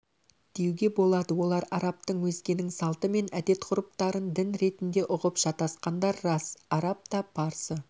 деуге болады олар арабтың өзгенің салты мен әдет-ғұрыптарындін ретінде ұғып шатасқандар рас араб та парсы